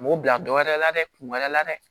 U b'u bila dɔ wɛrɛ la dɛ kun wɛrɛ la dɛ